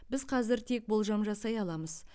біз қазір тек болжам жасай аламыз